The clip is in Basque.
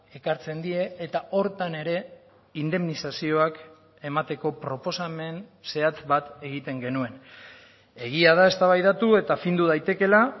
ekartzen die eta horretan ere indemnizazioak emateko proposamen zehatz bat egiten genuen egia da eztabaidatu eta findu daitekela